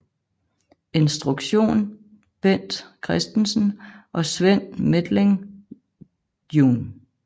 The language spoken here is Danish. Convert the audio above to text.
Instruktion Bent Christensen og Sven Methling jun